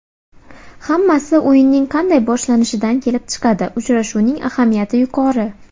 Hammasi o‘yinning qanday boshlanishidan kelib chiqadi, uchrashuvning ahamiyati yuqori.